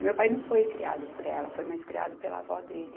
E meu pai não foi criado por ela, foi mais criado pela avó dele.